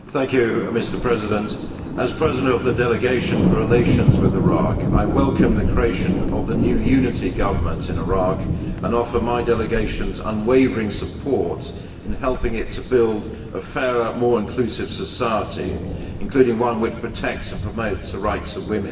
Mr President, as Chair of the Delegation for Relations with Iraq, I welcome the creation of the new unity government in Iraq and offer my delegation's unwavering support in helping it to build a fairer, more inclusive society, including one which protects and promotes the rights of women.